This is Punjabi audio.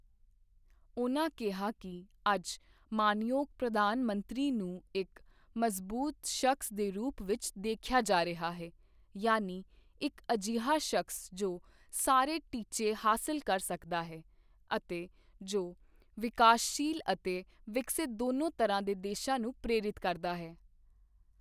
ਉਨ੍ਹਾਂ ਕਿਹਾ ਕਿ ਅੱਜ ਮਾਣਯੋਗ ਪ੍ਰਧਾਨ ਮੰਤਰੀ ਨੂੰ ਇੱਕ ਮਜ਼ਬੂਤ ਸ਼ਖਸ ਦੇ ਰੂਪ ਵਿੱਚ ਦੇਖਿਆ ਜਾ ਰਿਹਾ ਹੈ ਯਾਨਿ ਇੱਕ ਅਜਿਹਾ ਸ਼ਖਸ ਜੋ ਸਾਰੇ ਟੀਚੇ ਹਾਸਲ ਕਰ ਸਕਦਾ ਹੈ ਅਤੇ ਜੋ ਵਿਕਾਸਸ਼ੀਲ ਅਤੇ ਵਿਕਸਿਤ ਦੋਨੋਂ ਤਰ੍ਹਾਂ ਦੇ ਦੇਸ਼ਾਂ ਨੂੰ ਪ੍ਰੇਰਿਤ ਕਰਦਾ ਹੈ।